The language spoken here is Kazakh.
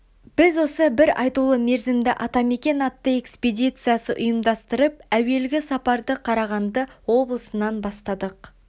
біз осы бір айтулы мерзімді атамекен атты экспедиция ұйымдастырып әуелгі сапарды қарағанды облысынан бастадық